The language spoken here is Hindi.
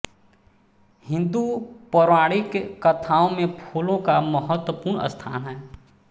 हिंदू पौराणिक कथाओं में फूलों का महत्वपूर्ण स्थान है